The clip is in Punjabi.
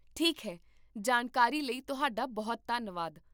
ਠੀਕ ਹੈ, ਜਾਣਕਾਰੀ ਲਈ ਤੁਹਾਡਾ ਬਹੁਤ ਧੰਨਵਾਦ